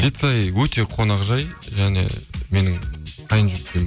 жетісай өте қонақжай және менің қайын жұрт